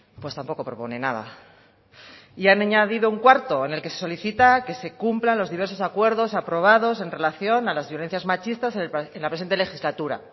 pues tampoco propone nada y han añadido un cuarto en el que solicitan que se cumplan los diversos acuerdos aprobados en relación a las violencias machistas en la presente legislatura